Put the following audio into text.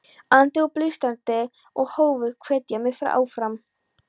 andi og blístrandi, og hófu að hvetja mig áfram.